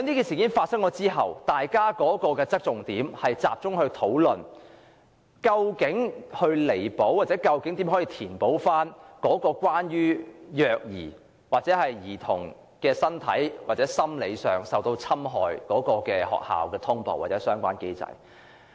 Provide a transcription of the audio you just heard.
事件發生後，大家的討論重點，一直集中於學校通報機制，希望找出該機制在處理虐兒或兒童身心受到侵害方面有何不足，並予以彌補。